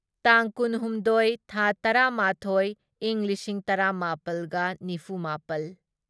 ꯇꯥꯡ ꯀꯨꯟꯍꯨꯝꯗꯣꯢ ꯊꯥ ꯇꯔꯥꯃꯥꯊꯣꯢ ꯢꯪ ꯂꯤꯁꯤꯡ ꯇꯔꯥꯃꯥꯄꯜꯒ ꯅꯤꯐꯨꯃꯥꯄꯜ